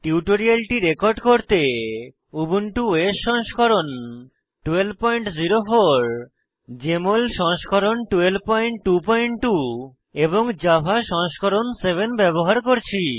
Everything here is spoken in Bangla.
টিউটোরিয়ালটি রেকর্ড করতে উবুন্টু ওএস সংস্করণ 1204 জেএমএল সংস্করণ 1222 এবং জাভা সংস্করণ 7 ব্যবহার করছি